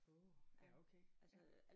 Åh ja okay ja